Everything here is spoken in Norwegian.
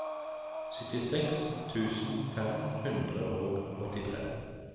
syttiseks tusen fem hundre og åttitre